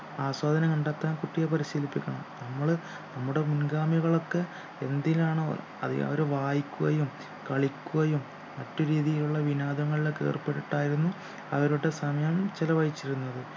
ആസ്വാദനം കണ്ടെത്താൻ കുട്ടിയെ പരിശീലിപ്പിക്കണം നമ്മള് നമ്മുടെ മുൻഗാമികളൊക്കെ എന്തിലാണോ അതി അതിനവര് വായിക്കുകയും കളിക്കുകയും മറ്റു രീതിയിലുള്ള വിനോദങ്ങളിലൊക്കെ ഏർപ്പെട്ടിട്ടായിരുന്നു അവരുടെ സമയം ചെലവഴിച്ചിരുന്നത്